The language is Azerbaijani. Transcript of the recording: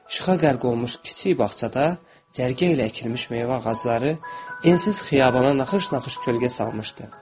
İşıqa qərq olmuş kiçik bağçada cərgə ilə əkilmiş meyvə ağacları ensiz xiyabana naxış-naxış kölgə salmışdı.